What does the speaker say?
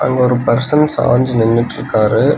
அங்க ஒரு பர்சன்ஸ் சாஞ்சு நின்னுட்ருக்காரு.